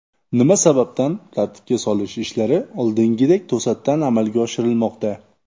Nima sababdan tartibga solish ishlari oldingidek to‘satdan amalga oshirilmoqda?